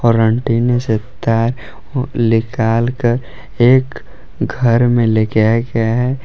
और एंटीने से तार निकाल कर एक घर में ले के आया गया है।